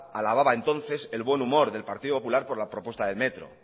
alababa entonces el buen humor del partido popular por la propuesta del metro